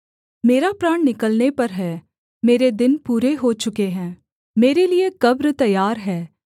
मेरा प्राण निकलने पर है मेरे दिन पूरे हो चुके हैं मेरे लिये कब्र तैयार है